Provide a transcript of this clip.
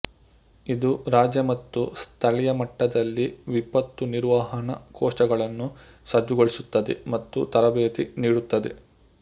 ಇದು ರಾಜ್ಯ ಮತ್ತು ಸ್ಥಳೀಯ ಮಟ್ಟದಲ್ಲಿ ವಿಪತ್ತು ನಿರ್ವಹಣಾ ಕೋಶಗಳನ್ನು ಸಜ್ಜುಗೊಳಿಸುತ್ತದೆ ಮತ್ತು ತರಬೇತಿ ನೀಡುತ್ತದೆ